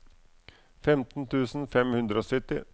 femten tusen fem hundre og sytti